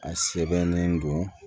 A sɛbɛnnen don